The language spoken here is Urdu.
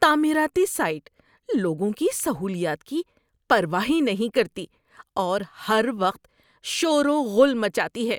تعمیراتی سائٹ لوگوں کی سہولیات کی پرواہ ہی نہیں کرتی اور ہر وقت شور و غل مچاتی ہے۔